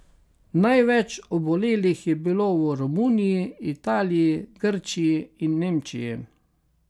Največ obolelih je bilo v Romuniji, Italiji, Grčiji in Nemčiji.